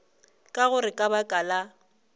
ka gore ka baka la